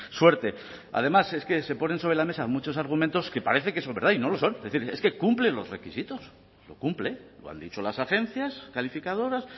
suerte además es que se ponen sobre la mesa muchos argumentos que parece que son verdad y no lo son es decir es que cumple los requisitos lo cumple lo han dicho las agencias calificadoras